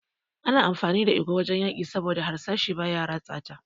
Ana amfani da igwa a fagen yaki saboda harsashi baya ratsa ta.